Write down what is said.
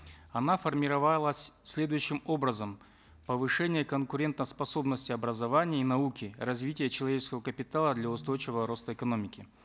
она формировалась следующим образом повышение конкурентоспособности образования и науки развитие человеческого капитала для устойчивого роста экономики